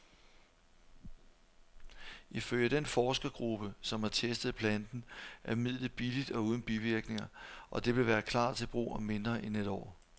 Ifølge den forskergruppe, som har testet planten, er midlet billigt og uden bivirkninger, og det vil klar til brug om mindre end et år.